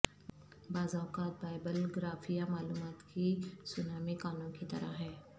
بعض اوقات بائبلگرافیا معلومات کی سونامی کانوں کی طرح ہیں